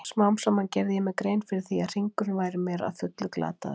Smám saman gerði ég mér grein fyrir því að hringurinn væri mér að fullu glataður.